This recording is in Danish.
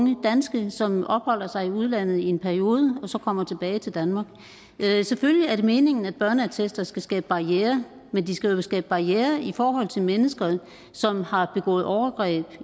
unge danske som opholder sig i udlandet i en periode og så kommer tilbage til danmark selvfølgelig er det meningen at børneattester skal skabe barrierer men de skal jo skabe barrierer i forhold til mennesker som har begået overgreb